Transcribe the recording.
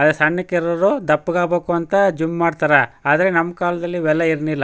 ಸಣ್ಣಕಿರೋರು ದಪ್ಪಗ್ ಆಗಬೇಕು ಅಂತ ಜಿಮ್ ಮಾಡತ್ತರೆ ಆದ್ರೆ ನಮ್ಮ ಕಾಲದಲ್ಲಿ ಇವೆಲ್ಲಾ ಇರಲಿಲ್ಲಾ.